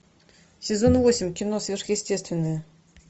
сезон восемь кино сверхъестественное